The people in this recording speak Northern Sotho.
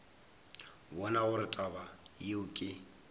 bone gore taba yeo ke